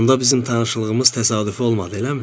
Onda bizim tanışlığımız təsadüfü olmadı, eləmi?